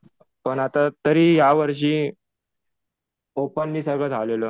पण आता तरी या वर्षी ओपन हि सगळं झालेलं.